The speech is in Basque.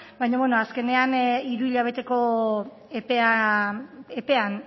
baina bueno azkenean hiru hilabeteko epean o sea